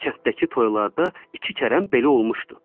Kənddəki toylarda iki kərəmb belə olmuşdu.